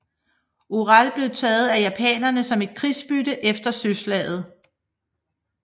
Orel blev taget af japanerne som et krigsbytte efter søslaget